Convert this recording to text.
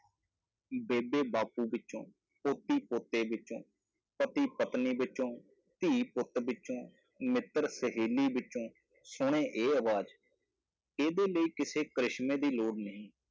ਬੇਬੇ ਬਾਪੂ ਵਿੱਚੋਂ, ਪੋਤੀ-ਪੋਤੇ ਵਿੱਚੋਂ, ਪਤੀ-ਪਤਨੀ ਵਿੱਚੋਂ, ਧੀ-ਪੁੱਤ ਵਿੱਚੋਂ, ਮਿੱਤਰ-ਸਹੇਲੀ ਵਿੱਚੋਂ ਸੁਣ ਇਹ ਆਵਾਜ਼, ਇਹਦੇ ਲਈ ਕਿਸੇ ਕਰਿਸ਼ਮੇ ਦੀ ਲੋੜ ਨਹੀਂ।